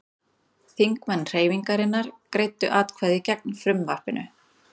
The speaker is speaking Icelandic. Þingmenn Hreyfingarinnar greiddu atkvæði gegn frumvarpinu